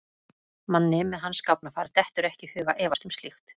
Manni með hans gáfnafar dettur ekki í hug að efast um slíkt.